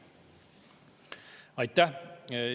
Aitäh!